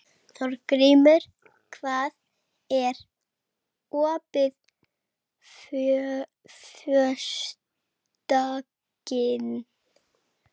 Þórgrímur, hvað er opið lengi á föstudaginn?